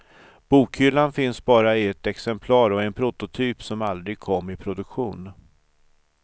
Bokhyllan finns bara i ett exemplar och är en prototyp som aldrig kom i produktion.